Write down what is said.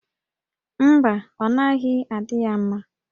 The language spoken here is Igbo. Mba, ọ naghị adị ya mma